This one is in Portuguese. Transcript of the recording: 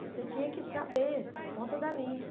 Você tinha que saber, na ponta da língua.